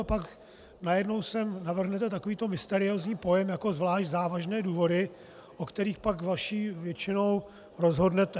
A pak najednou sem navrhnete takovýto mysteriózní pojem jako zvlášť závažné důvody, o kterých pak vaší většinou rozhodnete.